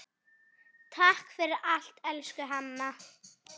Takk fyrir allt, elsku Hanna.